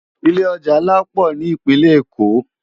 Ilé òjá nlá pò ni Ipinlè Ékó